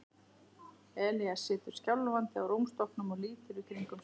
Elías situr skjálfandi á rúmstokknum og lítur í kringum sig.